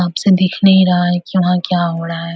साफ से दिख नहीं रहा है कि वहाँ क्या हो रहा है।